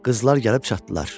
Qızlar gəlib çatdılar.